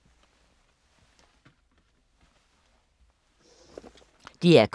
DR K